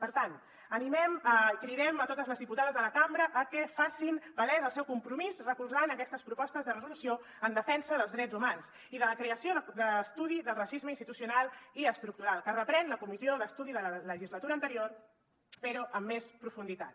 per tant animem i cridem a totes les diputades de la cambra a que facin palès el seu compromís recolzant aquestes propostes de resolució en defensa dels drets humans i de la creació de l’estudi del racisme institucional i estructural que reprèn la comissió d’estudi de la legislatura anterior però amb més profunditat